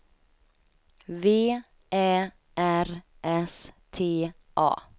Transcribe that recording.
V Ä R S T A